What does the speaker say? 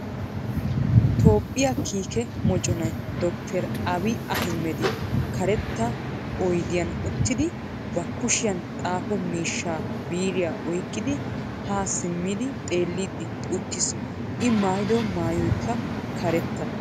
Toophphiya kiikke mocconay dr. Abi Ahmedi karttaa oydiyan uttidi ba kushiyan xaafo miishshaa biiriya oyqidi ha simmidi xeellidi uttis, I maayiddo maayoykka karetta.